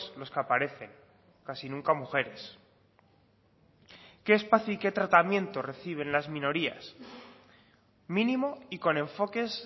los que aparecen casi nunca mujeres qué espacio y qué tratamiento reciben las minorías mínimo y con enfoques